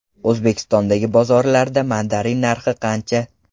O‘zbekistondagi bozorlarda mandarin narxi qancha?.